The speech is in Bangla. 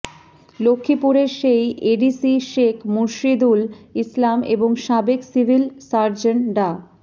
লক্ষ্মীপুরের সেই এডিসি শেখ মুর্শিদুল ইসলাম এবং সাবেক সিভিল সার্জন ডা